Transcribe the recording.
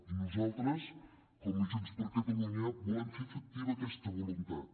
i nosaltres com a junts per catalunya volem fer efectiva aquesta voluntat